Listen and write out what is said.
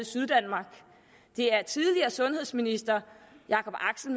syddanmark det er tidligere sundhedsminister jakob axel